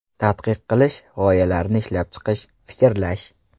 Tadqiq qilish, g‘oyalarni ishlab chiqish, fikrlash.